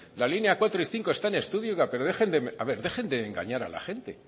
la línea cuatro y cinco están en estudio y pero dejen a ver dejen de engañar a la gente